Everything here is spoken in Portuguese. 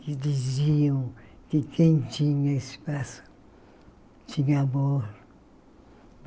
Que diziam que quem tinha espaço tinha amor.